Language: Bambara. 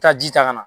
Taa ji ta ka na